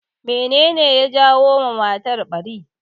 Me ne ne ya janyo ma matar ɓari?